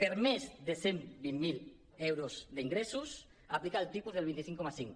per a més de cent vint mil euros d’ingressos aplica el tipus del vint cinc coma cinc